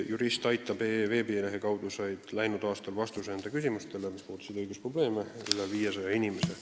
Juristaitab.ee veebilehe kaudu sai läinud aastal oma küsimusele vastuse üle 500 inimese.